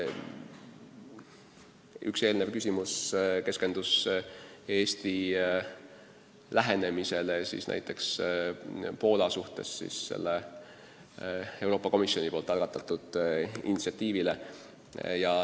Üks varasem küsimus keskendus Eesti lähenemisele Poola probleemile, sellele Euroopa Komisjoni algatatud initsiatiivile.